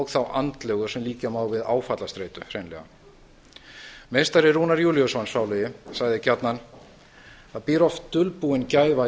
þá andlegu sem líkja má hreinlega við áfallastreitu meistari rúnar júlíusson sálugi sagði gjarnan það býr oft dulbúin gæfa